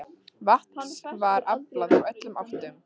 Vatns var aflað úr öllum áttum.